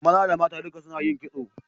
Maza da mata duka suna yin kitso